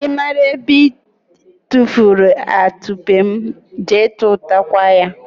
ị mara ebe I tufuru atụpe m, jee tụtakwa ya!